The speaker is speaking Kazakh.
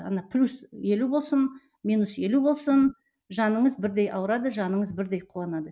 ана плюс елу болсын минус елу болсын жаныңыз бірдей ауырады жаныңыз бірдей қуанады